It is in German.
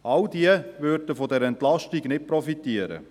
All diese würden von dieser Entlastung nicht profitieren.